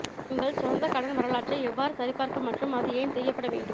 உங்கள் சொந்த கடன் வரலாற்றை எவ்வாறு சரிபார்க்க மற்றும் அது ஏன் செய்யப்பட வேண்டும்